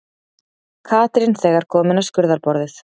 Katrín þegar komin á skurðarborðið.